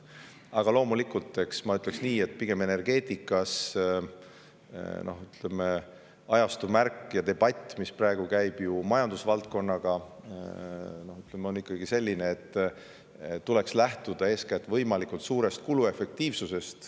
Aga loomulikult, ma ütleksin nii, et energeetikas on ajastu märk ja debatt, mis praegu käib majandusvaldkonnas, ikkagi selline, et tuleks lähtuda eeskätt võimalikult suurest kuluefektiivsusest.